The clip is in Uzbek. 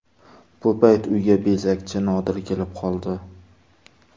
Bu payt uyga bezakchi Nodir kelib qoldi.